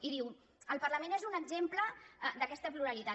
i diu el parlament és un exemple d’aquesta pluralitat